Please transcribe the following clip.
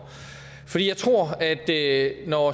for jeg tror at når